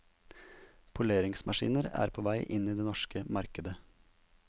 Poleringsmaskiner er på vei inn på det norske markedet.